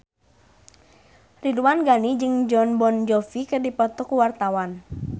Ridwan Ghani jeung Jon Bon Jovi keur dipoto ku wartawan